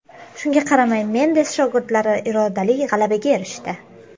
Shunga qaramay Mendes shogirdlari irodali g‘alabaga erishdi.